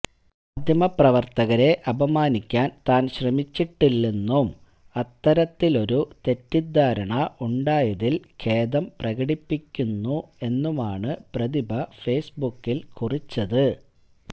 മാധ്യപ്രവർത്തകരെ അപമാനിക്കാൻ താൻ ശ്രമിച്ചിട്ടില്ലെന്നും അത്തരത്തിലൊരു തെറ്റിദ്ധാരണ ഉണ്ടായതിൽ ഖേദം പ്രകടിപ്പിക്കുന്നു എന്നുമാണ് പ്രതിഭ ഫേസ്ബുക്കിൽ കുറിച്ചത്